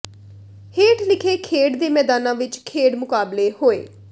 ਹੇਠ ਲਿਖੇ ਖੇਡ ਦੇ ਮੈਦਾਨਾਂ ਵਿੱਚ ਖੇਡ ਮੁਕਾਬਲੇ ਹੋਏ